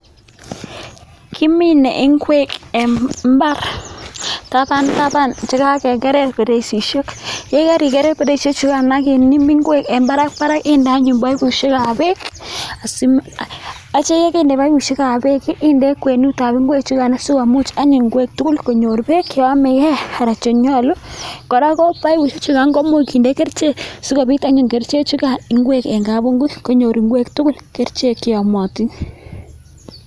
Kimine ingwek en imbar taban taban chekakekerer beresihek chukano ak yekariger beresihek chukano akimin ingwek en Barak Barak inde anyun baibushek ab bek Asim akitya index bek ab baibushek ab bek akitya index ingwek chukano sikomuch anyun ingwek tugul konyor bek cheyame gei anan chenyalu koraa baibushek chukan koimuch kinde kerchek sikomuch kobit anyun kerchek chukano ingwek en kabunguit konyor ingwek tugul kerchek cheyamatin